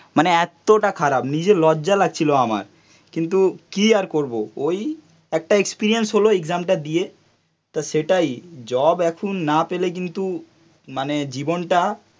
মানে এতটা খারাপ নিজের লজ্জা লাগছিলো আমার, কিন্তু কি আর করবো কিন্তু কি আর করবো ওই একটা এক্সপেরিয়েন্স হলো এক্সামটা দিয়ে তা সেটাই জব এখন না পেলে কিন্তু মানে জীবনটা